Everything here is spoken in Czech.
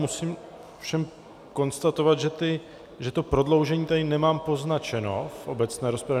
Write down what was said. Musím ovšem konstatovat, že to prodloužení tady nemám poznačeno v obecné rozpravě.